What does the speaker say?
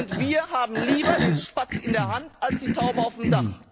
Und wir haben lieber den Spatz in der Hand als die Taube auf dem Dach.